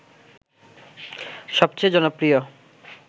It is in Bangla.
সবচেয়ে জনপ্রিয়